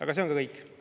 Aga see on kõik.